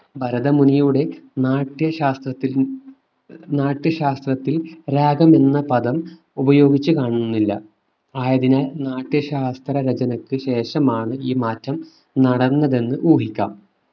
ഭരതമുനിയുടെ നാട്യശാസ്ത്ര നാട്യശാസ്ത്രത്തിൽ രാഗം എന്ന പദം ഉപയോഗിച്ച് കാണുന്നില്ല. ആയതിനാൽ നാട്യശാസ്ത്ര രചനക്കു ശേഷമാണ് ഈ മാറ്റം നടന്നതെന്ന് ഊഹിക്കാം.